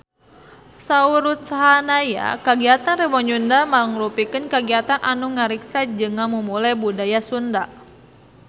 Saur Ruth Sahanaya kagiatan Rebo Nyunda mangrupikeun kagiatan anu ngariksa jeung ngamumule budaya Sunda